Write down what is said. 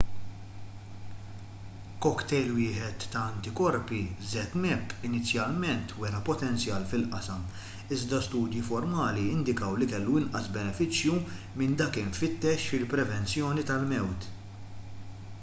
cocktail wieħed ta' antikorpi zmapp inizjalment wera potenzjal fil-qasam iżda studji formali indikaw li kellu inqas benefiċċju minn dak imfittex fil-prevenzjoni tal-mewt